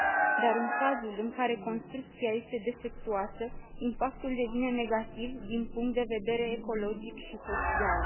Dar în cazul în care construcția este defectuoasă, impactul devine negativ din punct de vedere ecologic și social.